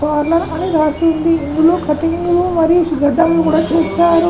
Parlour అని రాసి ఉంది. ఇందులో కట్టింగులు మరియు చేస్తారు .